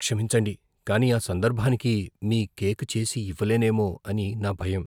క్షమించండి, కానీ ఆ సందర్భానికి మీ కేక్ చేసి ఇవ్వలేనేమో అని నా భయం.